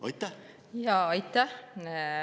Aitäh!